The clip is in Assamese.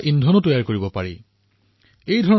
ইয়াক ইন্ধন হিচাপে প্ৰস্তুত কৰক